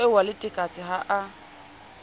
eo wa letekatse ha a